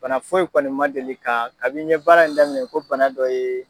Bana fo yi kɔni ma deli ka, kabin ye baara in daminɛ ko bana dɔ ye.